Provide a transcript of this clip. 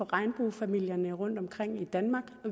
regnbuefamilierne rundtomkring i danmark